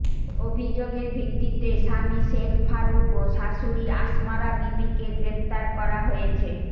অভিযোগের ভিত্তিতে স্বামী শেখ ফারুক ও শাশুড়ি আসমারা বিবিকে গ্রেফতার করা হয়েছে